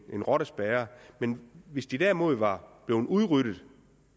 er en rottespærre hvis de derimod var blevet udryddet